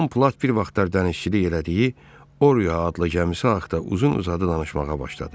Tom Platt bir vaxtlar dənizçilik elədiyi Oria adlı gəmisi haqda uzun-uzadı danışmağa başladı.